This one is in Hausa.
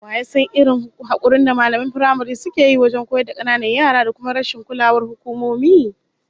Waye ya san irin hakurin da mallaman firamare suke yi wajen koyar da kananan yara da kuma rashin kulawar hukumomi?